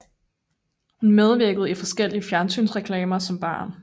Hun medvirkede i forskellige fjernsynsreklamer som barn